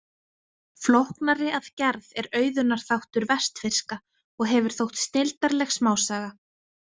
Flóknari að gerð er Auðunar þáttur vestfirska og hefur þótt snilldarleg smásaga.